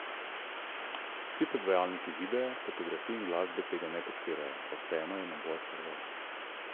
Vsi predvajalniki videa, fotografij in glasbe tega ne podpirajo, a vseeno je nabor kar velik.